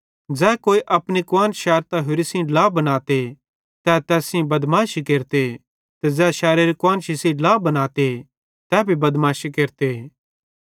ज़ै कोई अपनी कुआन्श शैरतां होरि सेइं ड्ला बनाते तै तैस सेइं बदमाशी केरते ते ज़ै शैरोरी कुआन्शी सेइं ड्ला बनाते तै भी बदमाशी केरते